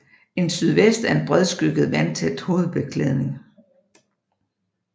En sydvest er en bredskygget vandtæt hovedbeklædning